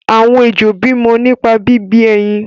àwọn ejò bí mọ nípa bí bí ẹyin.